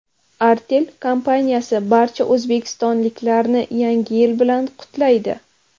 Artel kompaniyasi barcha o‘zbekistonliklarni Yangi yil bilan qutlaydi.